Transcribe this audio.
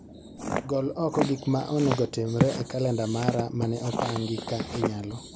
Gol okogik ma onego otimre e kalenda mara mane opangi ka inyalo